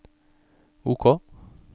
OK